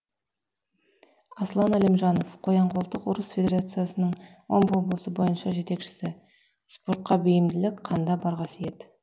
аслан әлімжанов қоян қолтық ұрыс федерациясының омбы облысы бойынша жетекшісі спортқа бейімділік қанда бар қасиет